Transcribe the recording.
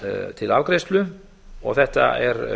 til afgreiðslu þetta er